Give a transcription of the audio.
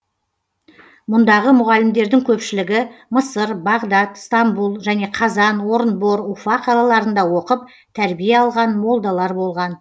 мұндағы мұғалімдердің көпшілігі мысыр бағдат стамбұл және қазан орынбор уфа қалаларында оқып тәрбие алған молдалар болған